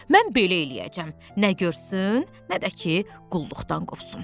Mən belə eləyəcəm, nə görsün, nə də ki, qulluqdan qovsun.